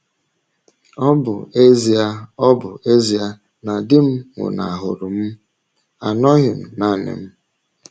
Ọ bụ ezie Ọ bụ ezie na di m nwụnahụrụ m, anọghị m nanị m.